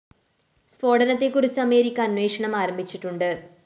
സ്‌ഫോടനത്തെക്കുറിച്ച് America അന്വേഷണം ആരംഭിച്ചിട്ടുണ്ട്